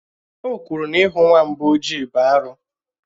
Ò kwuru na ihù nwamba ọjị bụ arụ